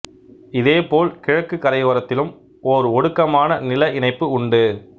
இதேபோல் கிழக்குக் கரையோரத்திலும் ஓர் ஒடுக்கமான நில இணைப்பு உண்டு